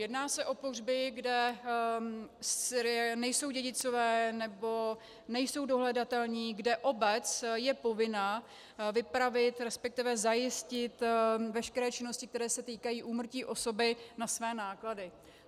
Jedná se o pohřby, kde nejsou dědicové nebo nejsou dohledatelní, kde obec je povinna vypravit, respektive zajistit veškeré činnosti, které se týkají úmrtí osoby na své náklady.